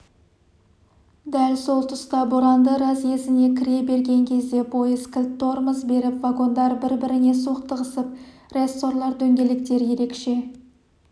дәл сол тұста боранды разъезіне кіре берген кезде пойыз кілт тормоз беріп вагондар бір-біріне соқтығысып рессорлар дөңгелектер ерекше